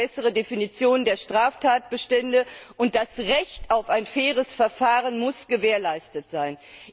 Wir brauchen bessere Definitionen der Straftatbestände, und das Recht auf ein faires Verfahren muss gewährleistet sein.